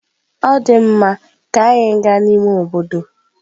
Ọ dị mma, ka anyị gaa n'ime obodo.